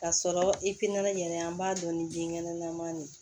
K'a sɔrɔ i pinɛ yɛrɛ an b'a dɔn ni denkɛnɛ nama de ye